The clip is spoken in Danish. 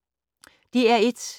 DR1